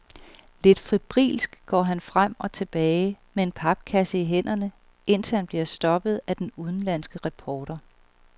Lidt febrilsk går han frem og tilbage med en papkasse i hænderne, indtil han bliver stoppet af den udenlandske reporter.